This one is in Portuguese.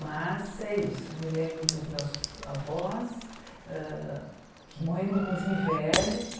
Mas é isso, me lembro dos meus avós, hã que morreram inclusive velhos.